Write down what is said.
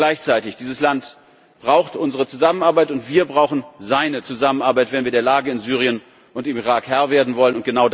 Und gleichzeitig Dieses Land braucht unsere Zusammenarbeit, und wir brauchen seine Zusammenarbeit, wenn wir der Lage in Syrien und im Irak Herr werden wollen.